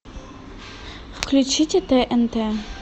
включите тнт